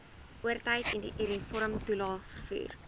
oortyd uniformtoelae vervoer